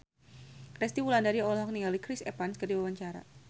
Resty Wulandari olohok ningali Chris Evans keur diwawancara